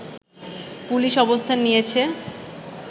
police অবস্থান নিয়েছে